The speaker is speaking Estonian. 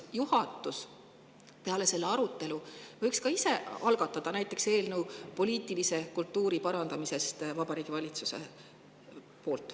Ma küsin: kas pärast seda arutelu võiks näiteks juhatus ise algatada eelnõu poliitilise kultuuri parandamiseks Vabariigi Valitsuses?